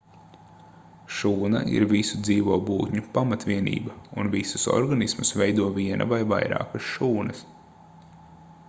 šūna ir visu dzīvo būtņu pamatvienība un visus organismus veido viena vai vairākas šūnas